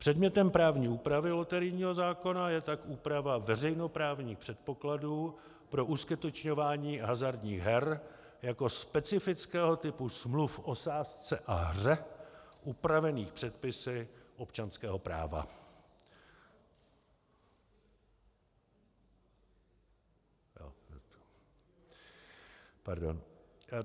Předmětem právní úpravy loterijního zákona je tak úprava veřejnoprávních předpokladů pro uskutečňování hazardních her jako specifického typu smluv o sázce a hře upravených předpisy občanského práva...